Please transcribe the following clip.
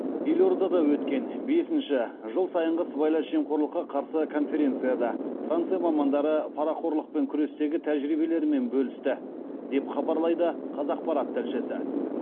елордада өткен бесінші жыл сайынғы сыбайлас жемқорлыққа қарсы конференцияда франция мамандары парақорлықпен күрестегі тәжірибелерімен бөлісті деп хабарлайды қазақпарат тілшісі